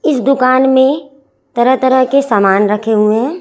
इस दुकान में तरह तरह के सामान रखे हुए हैं।